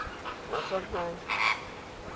maswanganyi